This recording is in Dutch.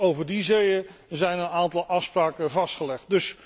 Ook over die zeeën zijn een aantal afspraken vastgelegd.